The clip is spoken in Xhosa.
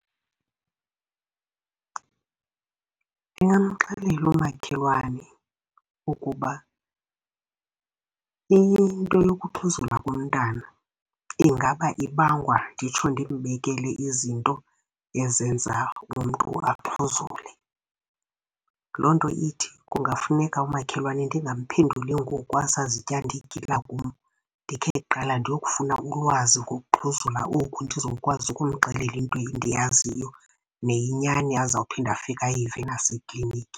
Ndingamxelela umakhelwane ukuba into yokuxhuzula komntana ingaba ibangwa, nditsho ndimbekele izinto ezenza umntu axhuzule. Loo nto ithi kungafuneka umakhelwane ndingamphenduli ngokwasazityanda igila kum, ndikhe kuqala ndiyokufuna ulwazi ngokuxhuzula oku ndizokwazi ukumxelela into endiyaziyo neyinyani azawuphinda afike ayive naseklinikhi.